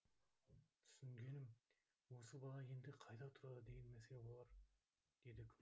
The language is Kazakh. түсінгенім осы бала енді қайда тұрады деген мәселе болар деді